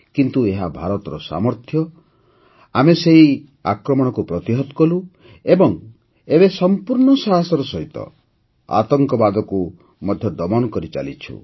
କିନ୍ତୁ ଏହା ଭାରତର ସାମର୍ଥ୍ୟ ଯେ ଆମେ ସେହି ଆକ୍ରମଣକୁ ପ୍ରତିହତ କଲୁ ଏବଂ ଏବେ ସମ୍ପୂର୍ଣ୍ଣ ସାହସର ସହିତ ଆତଙ୍କବାଦକୁ ମଧ୍ୟ ଦମନ କରିଚାଲିଛୁ